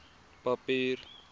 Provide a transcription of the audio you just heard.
papier